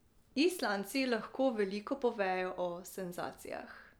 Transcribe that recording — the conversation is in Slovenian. Islandci lahko veliko povejo o senzacijah.